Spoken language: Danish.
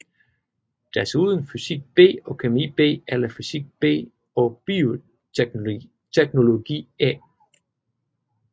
Desuden fysik B og kemi B eller fysik B og bioteknologi A